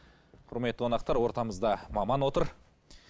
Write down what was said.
құрметті қонақтар ортамызда маман отыр